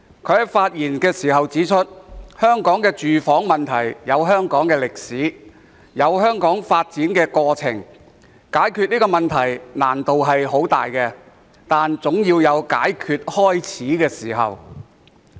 他指出，香港的住房問題有其歷史和發展過程，解決這個問題的難度很大，但總要有開始解決的時候。